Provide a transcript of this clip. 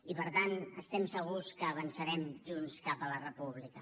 i per tant estem segurs que avançarem junts cap a la república